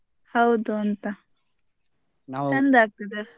ಹೌದು ಅಂತ ಆಗ್ತದೆ.